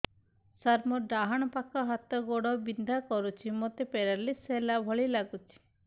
ସାର ମୋର ଡାହାଣ ପାଖ ହାତ ଗୋଡ଼ ବିନ୍ଧା କରୁଛି ମୋତେ ପେରାଲିଶିଶ ହେଲା ଭଳି ଲାଗୁଛି